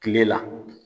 Kile la